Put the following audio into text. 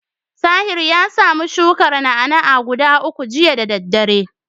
Tahir ya samu shukar na'a-na'a guda uku jiya da daddare.